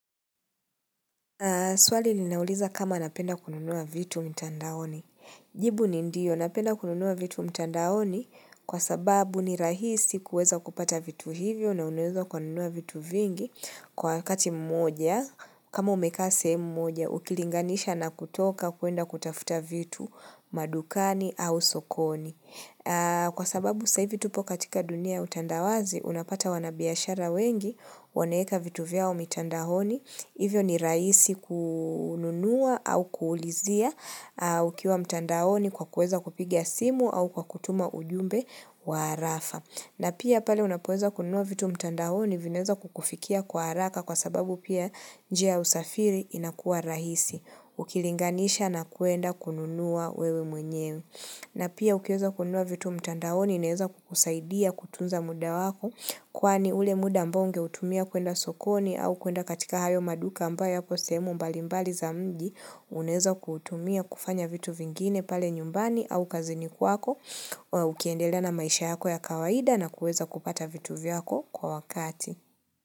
Swali ninauliza kama napenda kununua vitu mtandaoni. Jibu ni ndio napenda kununua vitu mtandaoni kwa sababu ni rahisi kuweza kupata vitu hivyo na unweza kununua vitu vingi kwa wakati mmoja kama umekase mmoja ukilinganisha na kutoka kuenda kutafuta vitu madukani au sokoni. Kwa sababu sahii hivi tupo katika dunia utandawazi, unapata wanabiashara wengi, waneeka vitu vyao mitandahoni Hivyo ni rahisi kununua au kuulizia ukiwa mtandaoni kwa kueza kupigia simu au kwa kutuma ujumbe wa harafa na pia pale unapoeza kununuwa vitu mtandahoni vineza kukufikia kwa haraka kwa sababu pia njia usafiri inakua rahisi Ukilinganisha na kuenda kununua wewe mwenyewe na pia ukiweza kunua vitu mtandaoni ineza kukusaidia kutunza muda wako kwani ule muda mbonge utumia kuenda sokoni au kuenda katika hayo maduka amba yako semu mbalimbali za mji uneza kutumia kufanya vitu vingine pale nyumbani au kaziniku wako ukiendela na maisha yako ya kawaida na kuweza kupata vitu vyako kwa wakati.